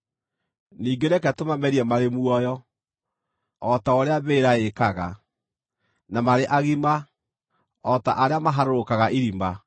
ningĩ reke tũmamerie marĩ muoyo, o ta ũrĩa mbĩrĩra ĩĩkaga, na marĩ agima, o ta arĩa maharũrũkaga irima;